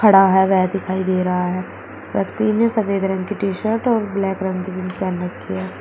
वह दिखाई दे रहा है व्यक्ति व्यक्ति ने सफेद रंग की टी शर्ट और ब्लैक रंग की जीन्स पहन रखी है।